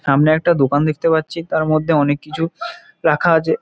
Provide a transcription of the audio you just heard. সামনে একটা দোকান দেখতে পাচ্ছি। তার মধ্যে অনেক কিছু রাখা আছে।